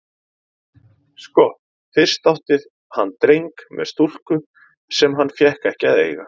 Sko, fyrst átti hann dreng með stúlku sem hann fékk ekki að eiga.